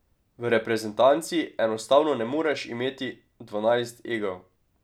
V reprezentanci enostavno ne moreš imeti dvanajst egov.